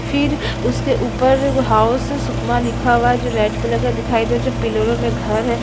फिर उसके ऊपर हाउस सुकमा लिखा हुआ है जो रेड कलर का दिखाई दे रहा है जो पिलरों मे घर है।